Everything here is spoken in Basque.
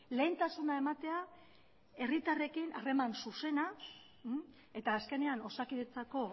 lehentasuna ematea herritarrekin harreman zuzena eta azkenean osakidetzako